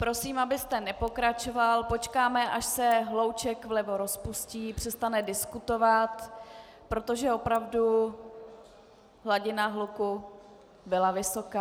Prosím, abyste nepokračoval, počkáme, až se hlouček vlevo rozpustí, přestane diskutovat, protože opravdu hladina hluku byla vysoká.